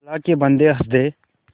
अल्लाह के बन्दे हंस दे